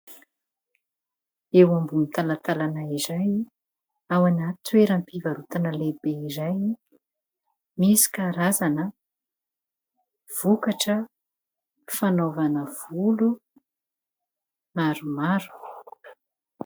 Eo ambony talatalana iray, ao amina toeram-pivarotana iray misy karazana vokatra fanaovana volo maromaro